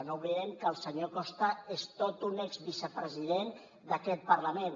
no oblidem que el senyor costa és tot un ex vicepresident d’aquest parlament